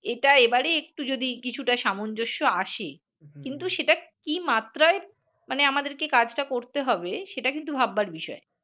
এটা এবারে যদি কিছু টা সামঞ্জস্য আসে কিন্তু সেটা কি মাত্রায় মানে আমাদের কে কাজ টা করতে হবে সেটা কিন্তু ভাববার বিষয়